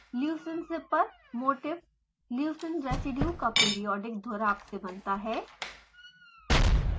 leucine zipper motif leucine residue का periodic दोहराव से बनता है